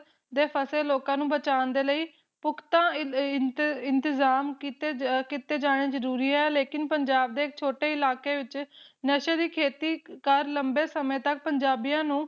ਦੇ ਫਸੇ ਲੋਕਾਂ ਨੂੰ ਬਚਾਉਣ ਦੇ ਲਈ ਪੁਖਤਾ ਇਨ ਇੰਤ ਇੰਤਜਾਮ ਕੀਤੇ ਅ ਕੀਤੇ ਜਾਣੇ ਜਰੂਰੀ ਆ ਲੇਕਿਨ ਪੰਜਾਬ ਦੇ ਛੋਟੇ ਇਲਾਕੇ ਵਿਚ ਨਸ਼ੇ ਦੀ ਖੇਤੀ ਕਰ ਲੰਬੇ ਸਮੇ ਤਕ ਪੁਜਾਬੀਆਂ ਨੂੰ